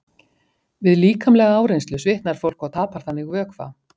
Við líkamlega áreynslu svitnar fólk og tapar þannig vökva.